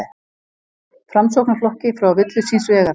Framsóknarflokki frá villu síns vegar.